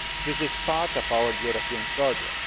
This is part of our European project.